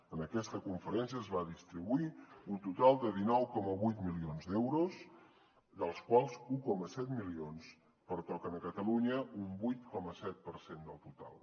en aquesta conferència es va distribuir un total de dinou coma vuit milions d’euros dels quals un coma set milions pertoquen a catalunya un vuit coma set per cent del total